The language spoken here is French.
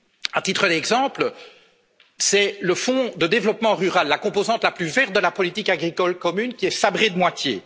À titre d'exemple, c'est le fonds de développement rural, la composante la plus verte de la politique agricole commune, qui est sabré de moitié.